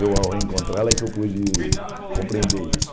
Eu, ao encontrá-la, é que eu pude compreender isso.